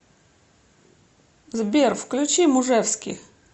сбер включи мужевски